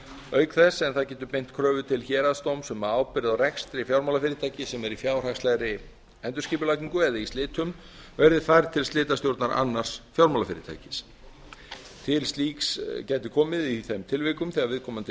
auk þess sem það getur beint kröfu til héraðsdóms um að ábyrgð á rekstri fjármálafyrirtækis sem er í fjárhagslegri endurskipulagningu eða í slitum verði færð til slitastjórnar annars fjármálafyrirtækis til slíks gæti komi í þeim tilvikum þegar viðkomandi